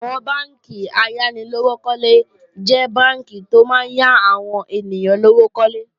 Àwọn bánkì ayánilówókọ́lé jẹ́ bánkì tó máa ń yá àwọn ènìyàn lówó kólé